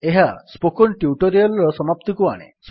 ଏହା spoken tutorial ର ସମାପ୍ତିକୁ ଆଣେ